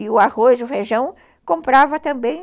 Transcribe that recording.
E o arroz, o feijão, comprava também.